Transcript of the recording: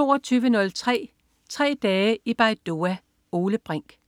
22.03 Tre dage i Baidoa. Ole Brink